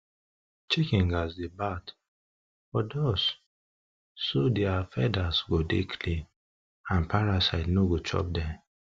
chicken gats dey bath for dust so their feathers go dey clean and parasite no go chop den